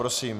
Prosím.